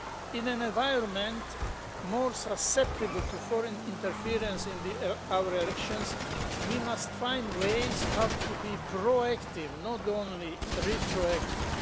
In an environment more susceptible to foreign interference in our elections, we must find ways how to be proactive and not only retroactive.